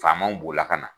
Faamaw b'o la ka na